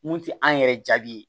Mun tɛ an yɛrɛ jaabi ye